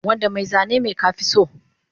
Wanda mai zani me ka fi so